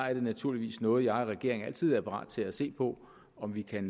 er det naturligvis noget jeg og regeringen altid er parat til at se på om vi kan